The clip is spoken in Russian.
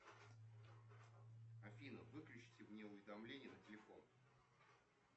афина выключите мне уведомления на телефон